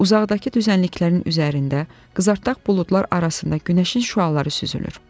Uzaqdakı düzənliklərin üzərində qızartdaq buludlar arasında günəşin şüaları süzülür.